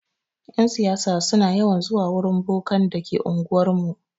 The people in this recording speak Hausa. Yan siyasa suna yawan zuwa wurin bokan da ke anguwar mu.